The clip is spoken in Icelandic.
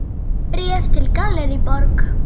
Bréf frá Gallerí Borg.